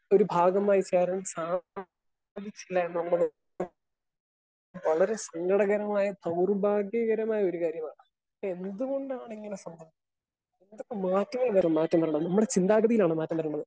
Speaker 1 ഒരു ഭാഗമായി ചേരാൻ സാധിച്ചിട്ടില്ല നമ്മള് വളരെ സങ്കടകരമായ ദൗർഭാഗീകരമായ ഒരു കാര്യമാണ്. എന്ത് കൊണ്ടാണ് ഇങ്ങനെ സംഭവിച്ചത്? ഇതൊക്കെ മാറ്റം വരണം മാറ്റങ്ങൾ നമ്മുടെ ചിന്താഗതിയിലാണ് മാറ്റം വരേണ്ടത്.